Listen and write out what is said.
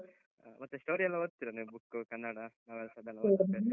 ಆ, ಮತ್ತೆ story ಯೆಲ್ಲ ಓದ್ತೀರ ನೀವ್ book , ಕನ್ನಡ novels ಅದೆಲ್ಲ .